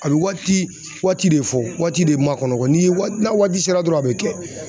A bɛ waati waati de fɔ waati de makɔnɔ ni ye waati n'a waati sera dɔrɔn a bɛ kɛ.